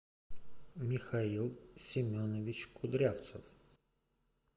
михаил семенович кудрявцев